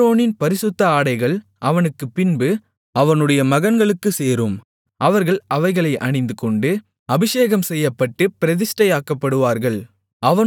ஆரோனின் பரிசுத்த ஆடைகள் அவனுக்குப்பின்பு அவனுடைய மகன்களுக்கு சேரும் அவர்கள் அவைகளை அணிந்துகொண்டு அபிஷேகம்செய்யப்பட்டுப் பிரதிஷ்டையாக்கப்படுவார்கள்